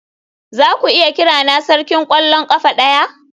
Zaku iya kirana sarkin kwallon kafa daya?